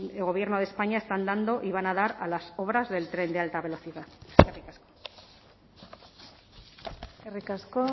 el gobierno de españa están dando y van a dar a las obras del tren de alta velocidad eskerrik asko